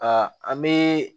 Aa an bee